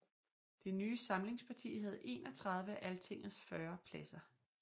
Det nye samlingsparti havde 31 af Altingets 40 pladser